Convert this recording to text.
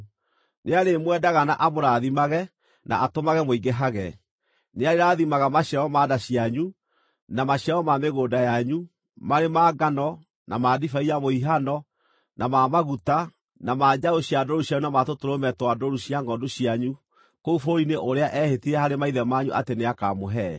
Nĩarĩmwendaga na amũrathimage na atũmage mũingĩhage. Nĩarĩrathimaga maciaro ma nda cianyu, na maciaro ma mĩgũnda yanyu, marĩ ma ngano, na ma ndibei ya mũhihano, na ma maguta, na ma njaũ cia ndũũru cianyu na ma tũtũrũme twa ndũũru cia ngʼondu cianyu kũu bũrũri-inĩ ũrĩa eehĩtire harĩ maithe manyu atĩ nĩakamũhe.